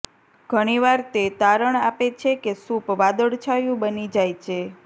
ઘણી વાર તે તારણ આપે છે કે સૂપ વાદળછાયું બની જાય છે